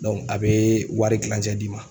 a bɛ wari kilancɛ d'i ma.